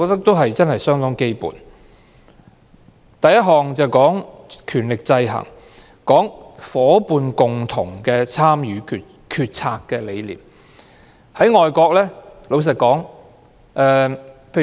第一項是權力制衡，也提到"學校伙伴共同參與決策"的理念。